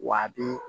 Wa a bi